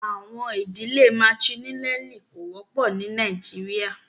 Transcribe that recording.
Àwọn idílẹ̀ Matrilineali kò wọpọ ní Nàìjíríà.